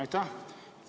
Aitäh!